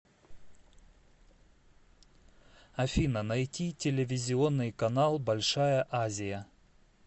афина найти телевизионный канал большая азия